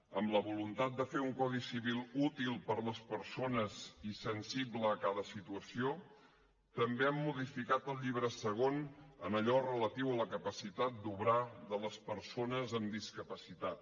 amb la voluntat de fer un codi civil útil per a les persones i sensible a cada situació també hem modificat el llibre segon en allò relatiu a la capacitat d’obrar de les persones amb discapacitat